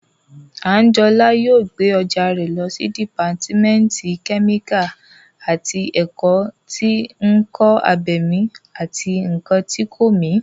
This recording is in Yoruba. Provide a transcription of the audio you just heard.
Àńjọlá yóò gbé ọjà rẹ̀ lọ sí dìpátímẹ́ǹtì kẹ́míkà àti ẹ̀kọ́ tí ǹkan abẹ̀mí àti ǹkan tí kò mí